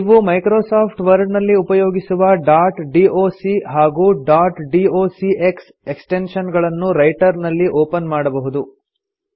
ನೀವು Microsoft Word ನಲ್ಲಿ ಉಪಯೋಗಿಸುವ ಡಾಟ್ ಡಾಕ್ ಹಾಗೂ ಡಾಟ್ ಡಾಕ್ಸ್ ಎಕ್ಸ್ಟೆನ್ಶನ್ ಗಳನ್ನು ರೈಟರ್ ನಲ್ಲಿ ಒಪನ್ ಮಾಡಬಹುದು